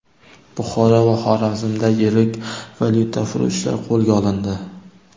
Buxoro va Xorazmda yirik valyutafurushlar qo‘lga olindi .